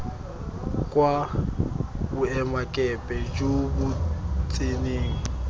kwa boemakepe jo bo tseneng